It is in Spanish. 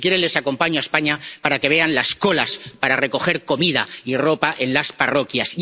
Si quieren les acompaño a España para que vean las colas para recoger comida y ropa en las parroquias.